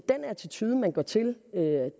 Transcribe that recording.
den attitude man går til